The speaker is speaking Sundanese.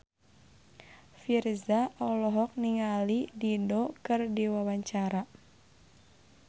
Virzha olohok ningali Dido keur diwawancara